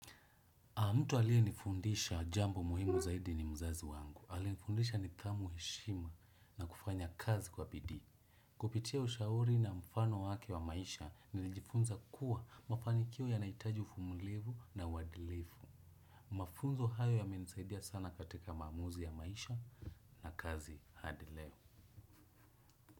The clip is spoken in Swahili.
Mtu aliye nifundisha jambo muhimu zaidi ni mzazi wangu. Ali nifundisha nithamu heshima na kufanya kazi kwa bidii. Kupitia ushauri na mfano wake wa maisha nilijifunza kuwa mafanikio yanahitaji uvumulivu na uwadilefu. Mafunzo hayo yamenisaidia sana katika maamuzi ya maisha na kazi hadi leo.